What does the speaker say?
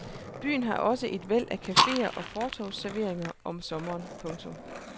Byen har også et væld af cafeer og fortorvsserveringer om sommeren. punktum